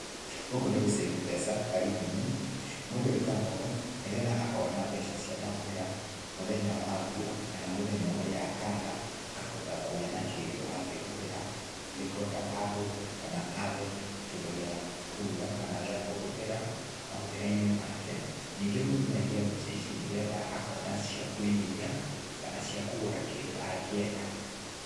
Gũkũ nĩ gũcĩĩbũ mbeca karĩmũ-ĩnĩ, mũndũ ekaaga ũũ nĩ getha akona mbeca cĩ mahũthĩra mũthenya wa mbũra ,kana mũthenya ũria akaaga akahoota kũgĩa na kindũ agĩhũthũthĩra nĩgũo ndakahũte kana aage kĩndũ gĩa kũrũga kana gĩa kũhũthĩra mahũthĩra-ĩnĩ make, nĩngĩ mũndũ no aaĩge mbeca ĩcĩ nĩ getha akona cĩa kũĩgĩthia kana cĩa kũgũra kĩndũ agĩenda.